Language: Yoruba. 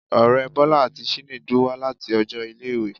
Ọrẹ Bola ati Chinedu wa lati ọjọ ile-iwe